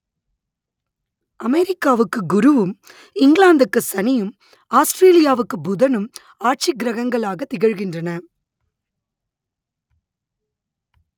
அமெரிக்காவுக்கு குருவும் இங்கிலாந்துக்கு சனியும் ஆஸ்ட்ரேலியாவுக்கு புதனும் ஆட்சி கிரகங்களாகத் திகழ்கின்றன